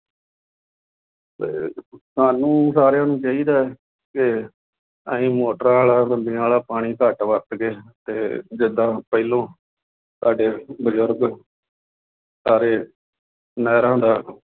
ਸਾਨੂੰ ਸਾਰਿਆਂ ਨੂੰ ਚਾਹੀਦਾ ਹੈ ਕਿ ਅਸੀਂ ਮੋਟਰਾਂ ਵਾਲਾ, ਬੰਬੀਆ ਵਾਲਾ, ਪਾਣੀ ਘੱਟ ਵਰਤ ਕੇ ਅਤੇ ਜਿਦਾਂ ਪਹਿਲੋਂ ਸਾਡੇ ਬਜ਼ੁਰਗ ਸਾਰੇ ਨਹਿਰਾਂ ਦਾ